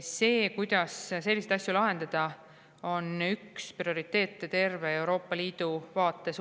See, kuidas selliseid asju lahendada, on üks prioriteete terve Euroopa Liidu vaates.